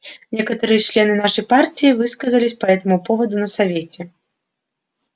некоторые члены нашей партии высказались по этому поводу на совете